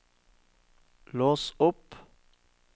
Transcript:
lås opp